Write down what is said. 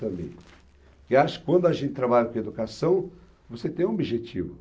Eu acho que quando a gente trabalha com educação, você tem um objetivo.